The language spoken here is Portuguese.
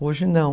Hoje não.